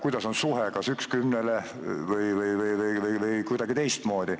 Kuidas on suhe, kas üks kümnele või kuidagi teistmoodi?